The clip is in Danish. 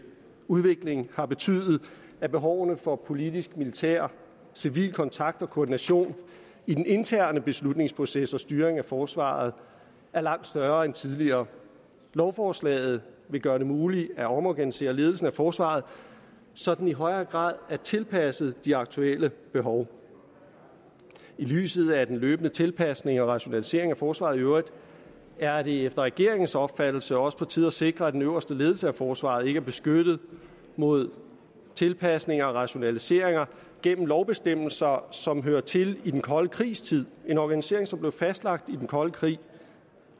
udvikling har betydet at behovene for politisk militær og civil kontakt og koordination i den interne beslutningsproces og styring af forsvaret er langt større end tidligere lovforslaget vil gøre det muligt at omorganisere ledelsen af forsvaret så den i højere grad er tilpasset de aktuelle behov i lyset af den løbende tilpasning og rationalisering af forsvaret i øvrigt er det efter regeringens opfattelse også på tide at sikre at den øverste ledelse af forsvaret ikke er beskyttet mod tilpasninger og rationaliseringer gennem lovbestemmelser som hører til i den kolde krigs tid en organisering som blev fastlagt under den kolde krig